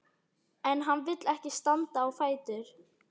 En hann vill ekki standa á fætur.